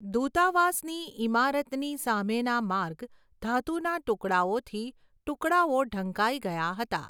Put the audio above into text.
દૂતાવાસની ઇમારતની સામેના માર્ગ ધાતુના ટુકડાઓથી ટુકડાઓ ઢંકાઈ ગયા હતા.